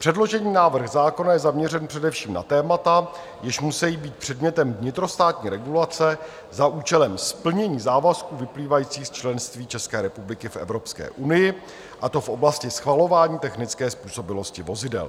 Předložený návrh zákona je zaměřen především na témata, jež musejí být předmětem vnitrostátní regulace za účelem splnění závazků vyplývajících z členství České republiky v Evropské unii, a to v oblasti schvalování technické způsobilosti vozidel.